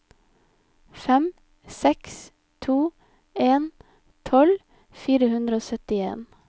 fem seks to en tolv fire hundre og syttien